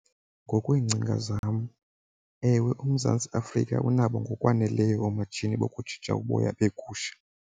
Ngokweengcinga zam, ewe, uMzantsi Afrika unabo ngokwaneleyo oomatshini bokujija uboya beegusha.